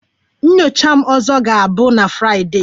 Nyocha m ọzọ ga-abụ na Fraịdee